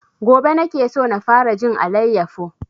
Gobe nake so na fara jin alayyafo